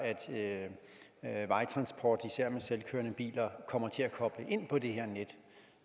at vejtransporten især med selvkørende biler kommer til at koble ind på det her net